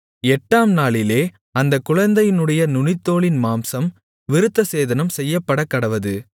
எட்டாம் நாளிலே அந்த குழந்தையினுடைய நுனித்தோலின் மாம்சம் விருத்தசேதனம் செய்யப்படக்கடவது